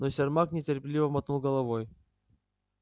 но сермак нетерпеливо мотнул головой